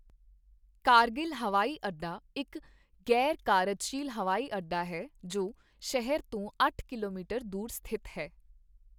ਕਾਰਗਿਲ ਹਵਾਈ ਅੱਡਾ ਇੱਕ ਗ਼ੈਰ ਕਾਰਜਸ਼ੀਲ ਹਵਾਈ ਅੱਡਾ ਹੈ ਜੋ ਸ਼ਹਿਰ ਤੋਂ ਅੱਠ ਕਿਲੋਮੀਟਰ ਦੂਰ ਸਥਿਤ ਹੈ।